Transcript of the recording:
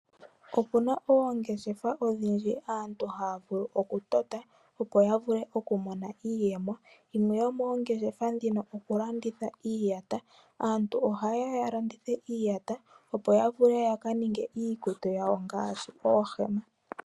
Opu na oongeshefa odhindji aantu haya vulu okutota opo ya vule okumona iiyemo dhimwe dhomoongeshefa dhika okulanditha iiyata. Aantu ohaye ya ya lande iiyata opo yaka ninge iikutu yawo ngaashi oohema.